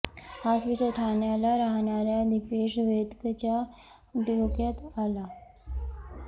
हाच विचार ठाण्याला राहणाऱ्या दीपेश वेदकच्या डोक्यात आला